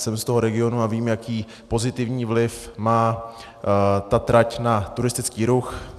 Jsem z toho regionu a vím, jaký pozitivní vliv má ta trať na turistický ruch.